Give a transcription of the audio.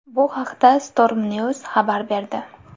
Bu haqda Stormnews xabar berdi .